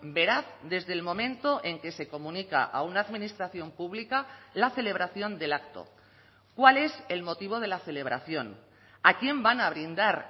veraz desde el momento en que se comunica a una administración pública la celebración del acto cuál es el motivo de la celebración a quién van a brindar